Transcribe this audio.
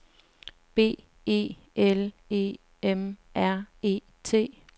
B E L E M R E T